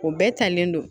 O bɛɛ talen don